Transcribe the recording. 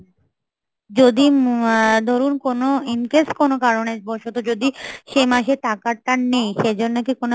যদি আহ ধরুন কোন in case কোনো কারণে বসত যদি সে মাসে টাকাটা নেই সেই জন্য কি কোনো